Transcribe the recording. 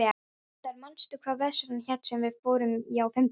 Tindar, manstu hvað verslunin hét sem við fórum í á fimmtudaginn?